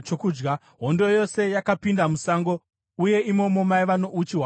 Hondo yose yakapinda musango, uye imomo maiva nouchi hwapasi.